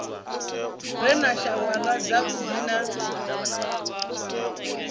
re na shawara dzavhuddi na